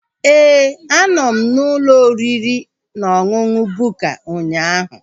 Éè, a nọ m n'ụlọ oriri na ọṅụṅụ Bukka ụnyaahụ